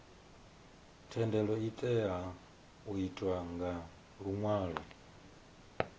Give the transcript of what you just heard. thendelo itea u itwa nga luṅwalo